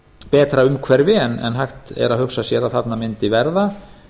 betra umhverfi en hægt er að hugsað sér að þarna mundi verða